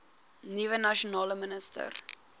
nuwe nasionale minister